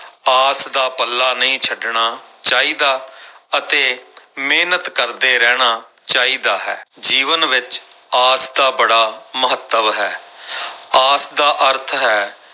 ਆਸ ਦਾ ਪੱਲਾ ਨਹੀਂ ਛੱਡਣਾ ਚਾਹੀਦਾ ਅਤੇ ਮਿਹਨਤ ਕਰਦੇ ਰਹਿਣਾ ਚਾਹੀਦਾ ਹੈ, ਜੀਵਨ ਵਿੱਚ ਆਸ ਦਾ ਬੜਾ ਮਹੱਤਵ ਹੈ ਆਸ ਦਾ ਅਰਥ ਹੈ,